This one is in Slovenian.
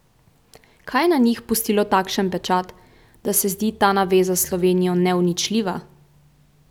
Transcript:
Kaj je na njih pustilo takšen pečat, da se zdi ta naveza s Slovenijo neuničljiva?